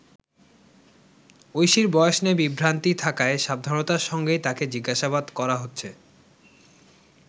ঐশীর বয়স নিয়ে বিভ্রান্তি থাকায় সাবধানতার সঙ্গেই তাকে জিজ্ঞাসাবাদ করা হচ্ছে।